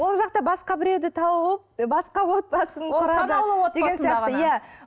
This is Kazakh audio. ол жақта басқа біреуді тауып басқа отбасын құрады